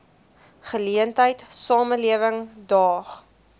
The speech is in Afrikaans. geleentheid samelewing daag